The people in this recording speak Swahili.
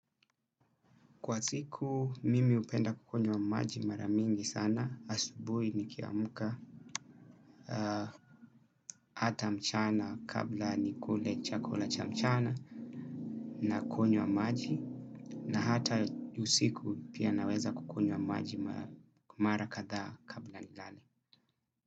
Kwa siku mimi hupenda kunywa wa maji mara mingi sana, asubuhi nikiamka, hata mchana kabla nikule chakula cha mchana, nakunywa maji, na hata usiku pia naweza kunywa maji mara kadhaa kabla nilale.